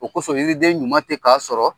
O kosɔn, yiriden ɲuman tɛ k'a sɔrɔ.